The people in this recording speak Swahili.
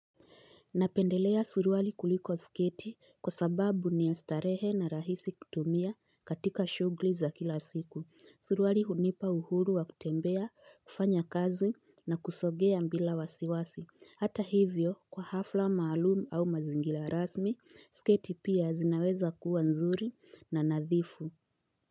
Napendelea suruwali kuliko sketi kwa sababu ni starehe na rahisi kutumia katika shugli za kila siku. Suruwali hunipa uhuru wa kutembea, kufanya kazi na kusogea mbila wasiwasi. Hata hivyo, kwa hafla maalumu au mazingila rasmi, sketi pia zinaweza kuwa nzuri na nadhifu.